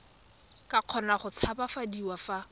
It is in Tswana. ka kgona go tshabafadiwa fa